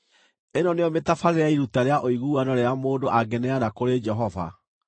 “ ‘Ĩno nĩyo mĩtabarĩre ya iruta rĩa ũiguano rĩrĩa mũndũ angĩneana kũrĩ Jehova: